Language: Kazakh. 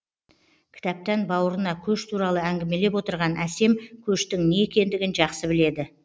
кітаптан бауырына көш туралы әңгімелеп отырған әсем көштің не екендігін жақсы біледі